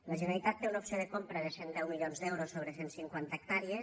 la generalitat té una opció de compra de cent i deu milions d’euros sobre cent cinquanta hectàrees